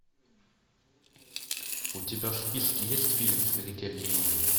у тебя в списке есть фильм смертельный номер